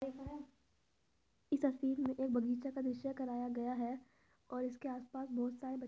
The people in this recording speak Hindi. अ इस तस्वीर में एक बगीचा का दृश्य कराया गया है और इसके आसपास बहुत सारे बच्चे --